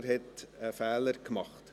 Er hat offenbar einen Fehler gemacht.